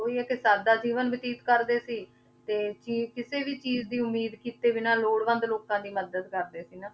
ਤੇ ਉਹੀ ਹੈ ਕਿ ਸਾਦਾ ਜੀਵਨ ਬਤੀਤ ਕਰਦੇ ਸੀ, ਤੇ ਚੀਜ਼ ਕਿਸੇ ਵੀ ਚੀਜ਼ ਦੀ ਉਮੀਦ ਕੀਤੇ ਬਿਨਾਂ ਲੋੜਵੰਦ ਲੋਕਾਂ ਦੀ ਮਦਦ ਕਰਰਦੇ ਸੀ ਨਾ,